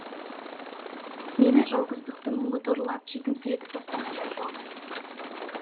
мені жалғыздықтың мұңы торлап жетімсіретіп тастағандай болды